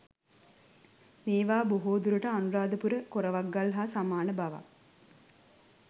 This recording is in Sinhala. මේවා බොහෝ දුරට අනුරාධපුර කොරවක්ගල් හා සමාන බවක්